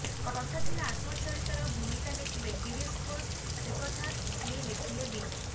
କଥା ଥିଲା ଆତ୍ମଚରିତର ଭୂମିକା ଲେଖିବେ ଗିରିଶ ଘୋଷ ସେକଥା ସିଏ ରଖିଲେ ବି